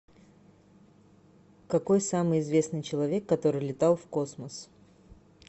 какой самый известный человек который летал в космос